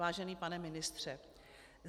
Vážený pane ministře.